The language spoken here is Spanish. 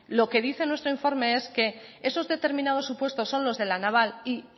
lo que dice nuestro informe es que esos determinados supuestos son los de la naval y